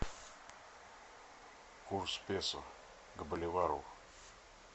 курс песо к боливару